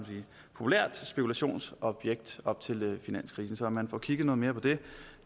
populært spekulationsobjekt op til finanskrisen så er man får kigget noget mere på det